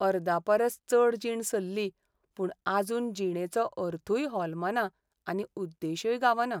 अर्दापरस चड जीण सल्ली, पूण आजून जिणेचो अर्थूय होलमना आनी उद्देशय गावना.